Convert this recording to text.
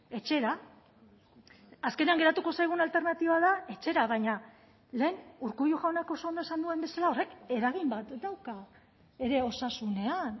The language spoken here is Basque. etxera azkenean geratuko zaigun alternatiba da etxera baina lehen urkullu jaunak oso ondo esan duen bezala horrek eragin bat dauka ere osasunean